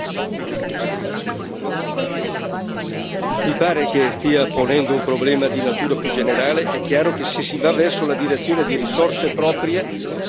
Mi pare che stia ponendo un problema di natura più generale. È chiaro che, se si va verso la direzione delle risorse proprie, si diminuiscono quelli che sono i trasferimenti dagli Stati membri.